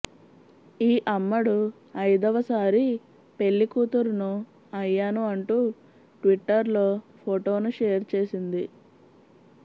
ఈ అమ్మడు అయిదవ సారి పెళ్లి కూతురును అయ్యాను అంటూ ట్విట్టర్లో ఫొటోను షేర్ చేసింది